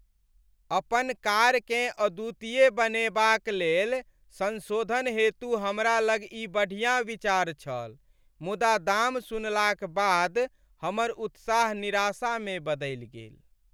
अपन कारकेँ अद्वितीय बनेबाक लेल संशोधन हेतु हमरा लग ई बढ़िया विचार छल, मुदा दाम सुनलाक बाद हमर उत्साह निराशामे बदलि गेल।